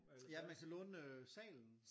Ja man kan låne øh salen